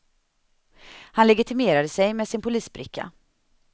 Han legitimerade sig med sin polisbricka.